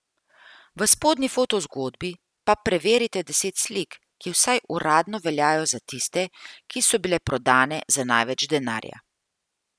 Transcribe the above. V spodnji fotozgodbi pa preverite deset slik, ki vsaj uradno veljajo za tiste, ki so bile prodane za največ denarja.